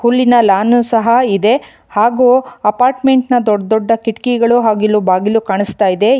ಹುಲಿನ lawn ಸಹ ಇದೆ ಹಾಗೂ ಅಪಾರ್ಟ್ಮೆಂಟ್ ನ ದೊಡ್ದ್ ದೊಡ್ಡ ಕಿಟಕಿಗಳು ಹಾಗಿಲ್ಲು ಬಾಗಿಲು ಕಾಣಿಸುತ್ತಾ ಇದೆ.